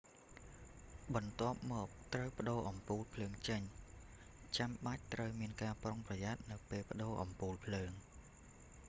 បន្ទាប់មក ត្រូវប្ដូរអំពូលភ្លើងចេញ ចាំបាច់ត្រូវមានការប្រុងប្រយ័ត្ននៅពេលប្ដូរអំពូលភ្លើង